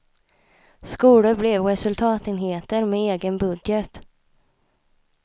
Skolor blev resultatenheter, med egen budget.